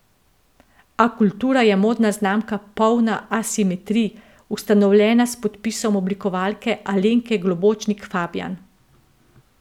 Akultura je modna znamka polna asimetrij, ustanovljena s podpisom oblikovalke Alenke Globočnik Fabjan.